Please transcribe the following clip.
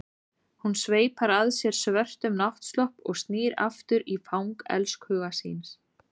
Hún sveipar að sér svörtum náttslopp og snýr aftur í fang elskhuga síns.